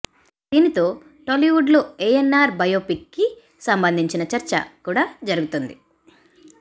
దీనితో టాలీవుడ్ లో ఏఎన్నార్ బయోపిక్ కి సంబంధించిన చర్చ కూడా జరుగుతోంది